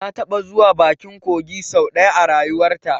Ta taɓa zuwa bakin kogi sau ɗaya a rayuwarta